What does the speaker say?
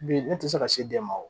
Bi ne tɛ se ka se den ma wo